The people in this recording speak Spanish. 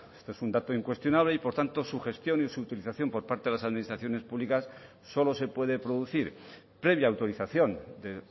este es un dato incuestionable y por tanto su gestión y su utilización por parte de las administraciones públicas solo se puede producir previa autorización de